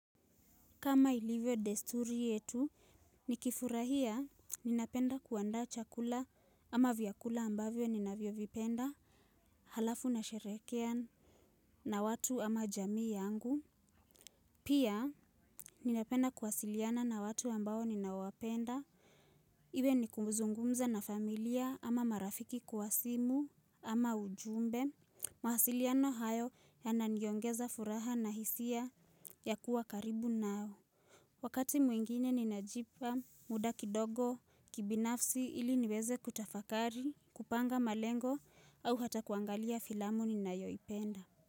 Kama ilivyo desturi yetu, nikifurahia ninapenda kuandaa chakula ama vyakula ambavyo ninavyovipenda halafu nasherehekea na watu ama jamii yangu. Pia ninapenda kuwasiliana na watu ambao ninaowapenda. Iwe ni kuzungumza na familia ama marafiki kwa simu ama ujumbe. Mawasiliano hayo yananiongeza furaha na hisia ya kuwa karibu nao. Wakati mwingine ninajipa muda kidogo kibinafsi ili niweze kutafakari, kupanga malengo au hata kuangalia filamu ninayoipenda.